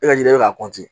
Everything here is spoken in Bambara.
E ka yiri be ka kɔntiniye